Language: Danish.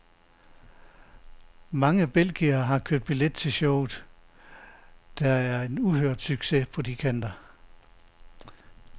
Mange belgiere har købt billet til showet, der er en uhørt succes på de kanter.